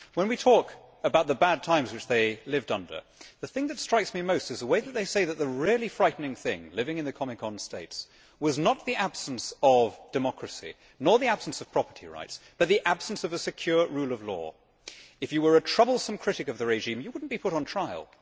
When we talk about the bad times which they lived under, the thing that strikes me most is the way that they say that the really frightening thing, living in the Comecon states, was not the absence of democracy, nor the absence of property rights, but the absence of a secure rule of law. If you were a troublesome critic of the regime, you would not be put on trial.